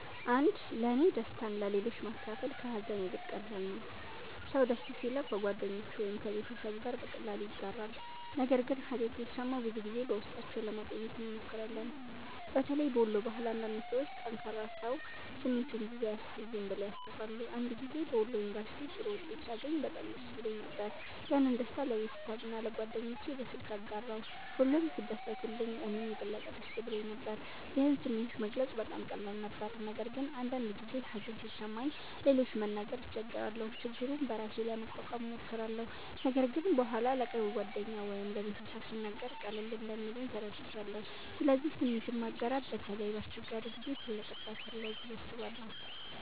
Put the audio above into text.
1ለእኔ ደስታን ለሌሎች ማካፈል ከሀዘን ይልቅ ቀላል ነው። ሰው ደስ ሲለው ከጓደኞቹ ወይም ከቤተሰቡ ጋር በቀላሉ ያጋራል፣ ነገር ግን ሀዘን ሲሰማን ብዙ ጊዜ በውስጣችን ለማቆየት እንሞክራለን። በተለይ በወሎ ባህል አንዳንድ ሰዎች “ጠንካራ ሰው ስሜቱን ብዙ አያሳይም” ብለው ያስባሉ። አንድ ጊዜ በወሎ ዩንቨርስቲ ጥሩ ውጤት ሳገኝ በጣም ደስ ብሎኝ ነበር። ያንን ደስታ ለቤተሰቤና ለጓደኞቼ በስልክ አጋራሁ፣ ሁሉም ሲደሰቱልኝ እኔም የበለጠ ደስ ብሎኝ ነበር። ይህን ስሜት መግለጽ በጣም ቀላል ነበር። ነገር ግን አንዳንድ ጊዜ ሀዘን ሲሰማኝ ለሌሎች ለመናገር እቸገራለሁ። ችግሩን በራሴ ለመቋቋም እሞክራለሁ፣ ነገር ግን በኋላ ለቅርብ ጓደኛ ወይም ለቤተሰብ ስናገር ቀለል እንደሚለኝ ተረድቻለሁ። ስለዚህ ስሜትን ማጋራት በተለይ በአስቸጋሪ ጊዜ ትልቅ እርዳታ አለው ብዬ አስባለሁ።